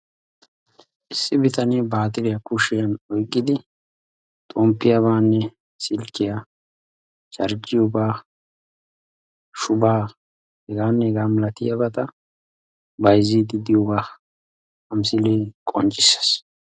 issi bitanee baatiriya kushiyan oyqidi xompiyabanne silkiya charjjiyoogaa shubaa hegaanne hegaa milatiyabata bayziidi diyooba ha misilee qonccissees.